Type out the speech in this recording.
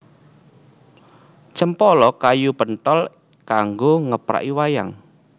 Cempala kayu penthol kanggo ngepraki wayang